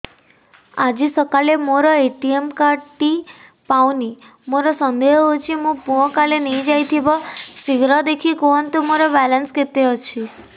ଆଜି ସକାଳେ ମୋର ଏ.ଟି.ଏମ୍ କାର୍ଡ ଟି ପାଉନି ମୋର ସନ୍ଦେହ ହଉଚି ମୋ ପୁଅ କାଳେ ନେଇଯାଇଥିବ ଶୀଘ୍ର ଦେଖି କୁହନ୍ତୁ ମୋର ବାଲାନ୍ସ କେତେ ଅଛି